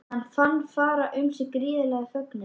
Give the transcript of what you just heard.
Hann fann fara um sig gríðarlegan fögnuð.